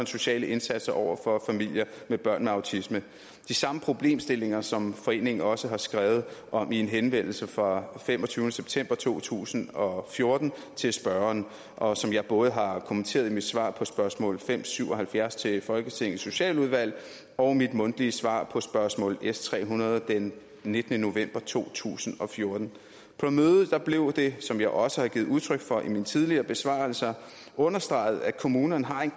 sociale indsatser over for familier med børn med autisme de samme problemstillinger som foreningen også har skrevet om i en henvendelse fra femogtyvende september to tusind og fjorten til spørgeren og som jeg både har kommenteret i mit svar på spørgsmål fem syv og halvfjerds til folketingets socialudvalg og mit mundtlige svar på spørgsmål s tre hundrede den nittende november to tusind og fjorten på mødet blev det som jeg også har givet udtryk for i mine tidligere besvarelser understreget at kommunerne har en